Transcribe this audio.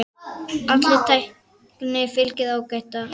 Allri tækni fylgir áhætta.